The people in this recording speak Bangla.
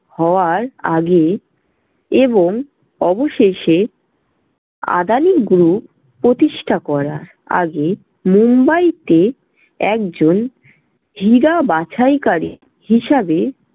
হওয়ার আগে এবং অবশেষে আদানি group প্রতিষ্ঠা করার আগে মুম্বাইতে একজন হীরা বাছাইকারী হিসাবে